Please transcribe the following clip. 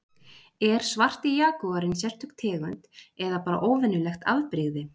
er svarti jagúarinn sérstök tegund eða bara óvenjulegt afbrigði